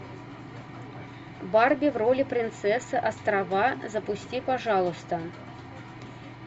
барби в роли принцессы острова запусти пожалуйста